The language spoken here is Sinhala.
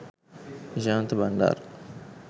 nishantha bandara